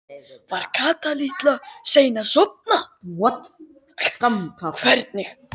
Var Kata litla sein að sofna?